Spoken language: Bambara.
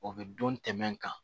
O bɛ don tɛmɛ kan